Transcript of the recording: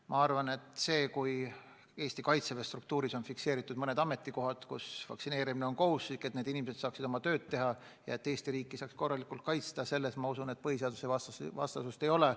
Ma arvan, et kui Eesti Kaitseväe struktuuris on fikseeritud mõni ametikohatd, mille puhul vaktsineerimine on kohustuslik, et need inimesed saaksid oma tööd teha ja et Eesti riiki saaks korralikult kaitsta, siis selles midagi põhiseadusvastast ei ole.